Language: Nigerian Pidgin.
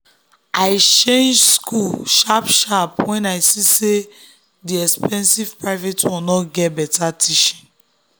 i change school sharp sharp when i see say the expensive private one no get better teaching.